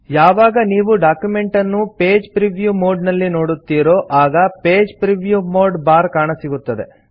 ಯಾವಾಗ ನೀವು ಡಾಕ್ಯುಮೆಂಟ್ ಅನ್ನು ಪೇಜ್ ಪ್ರಿವ್ಯೂ ಮೋಡ್ ನಲ್ಲಿ ನೋಡುತ್ತೀರೋ ಆಗ ಪೇಜ್ ಪ್ರಿವ್ಯೂ ಮೋಡ್ ಬಾರ್ ಕಾಣಸಿಗುತ್ತದೆ